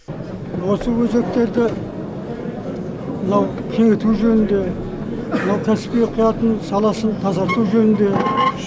осы өзектерді мынау кеңійту жөнінде мынау каспий құятын саласын тазарту жөнінде